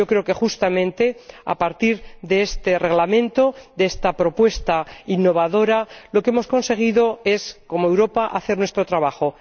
Yo creo que, justamente, a partir de este Reglamento, de esta propuesta innovadora, lo que hemos conseguido es, como Europa, hacer nuestro trabajo.